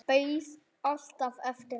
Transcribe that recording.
Beið alltaf eftir henni.